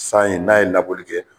San ye n'a ye labɔli kɛ